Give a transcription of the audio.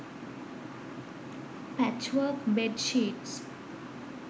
patchwork bed sheets